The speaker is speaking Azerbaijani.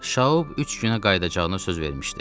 Şaub üç günə qayıdacağını söz vermişdi.